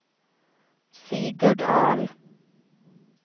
Sigurd Ahl